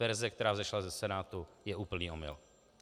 Verze, která vzešla ze Senátu, je úplný omyl.